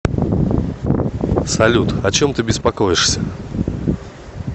салют о чем ты беспокоишься